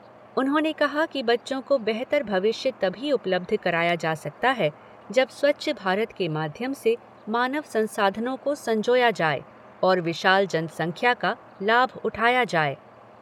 उन्होंने कहा कि बच्चों को बेहतर भविष्य तभी उपलब्ध कराया जा सकता है, जब स्वच्छ भारत के माध्यम से मानव संसाधनों को संजोया जाये और विशाल जनसंख्या का लाभ उठाया जाए।